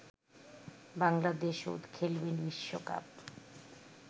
বাংলাদেশও খেলবে বিশ্বকাপ